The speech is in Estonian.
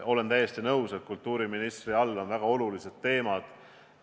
Olen täiesti nõus, et kultuuriministri haldusalas on väga olulised teemad.